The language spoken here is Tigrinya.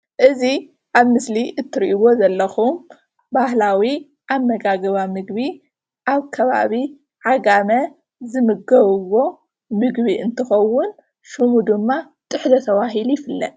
እዚ ኣብ ምስሊ እትሪእዎ ዘለኩም ባህላዊ ኣመጋግባ ምግቢ ኣብ ከባቢ ዓጋመ ዝምገብዎ ምግቢ እንትከውን ሽሙ ድማ ጥሕሎ ተባሂሉ ይፍለጥ፡፡